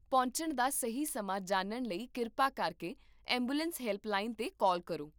ਪਹੁੰਚਣ ਦਾ ਸਹੀ ਸਮਾਂ ਜਾਣਨ ਲਈ ਕਿਰਪਾ ਕਰਕੇ ਐਂਬੂਲੈਂਸ ਹੈਲਪਲਾਈਨ 'ਤੇ ਕਾਲ ਕਰੋ